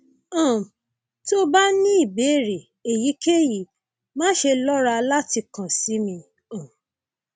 um tó o bá ní ìbéèrè èyíkéyìí máṣe lọra láti kàn sí mi um